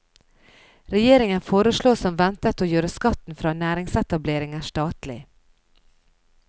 Regjeringen foreslår som ventet å gjøre skatten fra næringsetableringer statlig.